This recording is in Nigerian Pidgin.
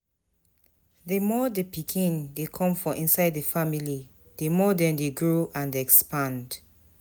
The more the pikin de come for inside the family the more dem de grow and expand